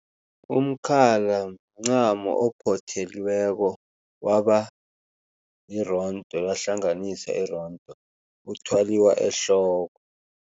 Umkhala mncamo ophotheliweko waba lirondo lahlanganisa irondo, uthwaliwa ehloko.